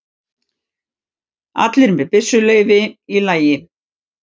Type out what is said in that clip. Allir með byssuleyfi í lagi